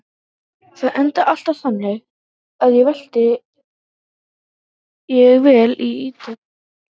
Það endar alltaf þannig að ég vel Ítalíu.